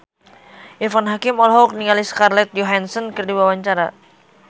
Irfan Hakim olohok ningali Scarlett Johansson keur diwawancara